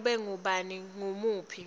nanobe ngabe ngubuphi